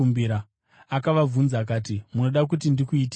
Akavabvunza akati, “Munoda kuti ndikuitireiko?”